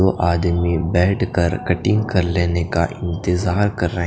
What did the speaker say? वो आदमी बेठ कर कटींग कर लेने का इंतजार कर रहे--